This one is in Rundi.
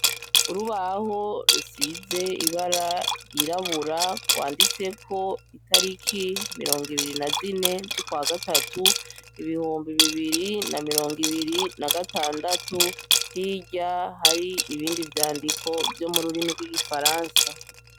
Urubaho rusize ibara ryirabura rwanditseko itariki mirongo ibiri na zine z'ukwa gatatu, ibihumbi mirongo ibiri na mirongo ibiri na gatandatu , hirya hari ibindi vyandiko vyo mu ruriko rw’igifaransa.